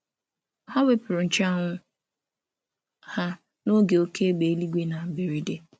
Ha nyere onye ọzọ nche um anwụ ha karịrị n’oge oké mmiri ozuzo na um mberede.